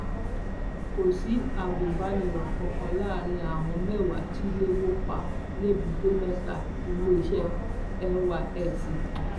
kò sí agùnbánirò kankan láàrin àwọn mẹwàá tí ilé wó pa lẹbùtémẹta iléeṣẹ nysc